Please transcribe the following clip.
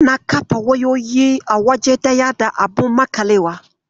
Ana kafe wayoyi a waje daya da abun maƙalewa